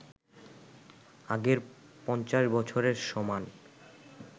আগের ৫০ বছরের সমান